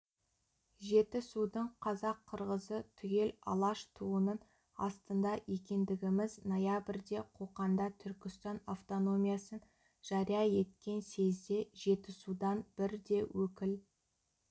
жетісудың қазақ-қырғызы түгел алаш туынын астында екендігіміз ноябрьде қоқанда түркістан автономиясын жария еткен съезде жетісудан бір де өкіл